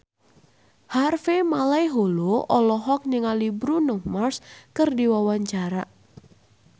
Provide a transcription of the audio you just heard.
Harvey Malaiholo olohok ningali Bruno Mars keur diwawancara